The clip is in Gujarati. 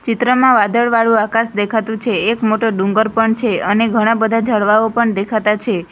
ચિત્રમાં વાદળવાળું આકાશ દેખાતું છે એક મોટો ડુંગર પણ છે અને ઘણા બધા ઝાડવાઓ પણ દેખાતા છે.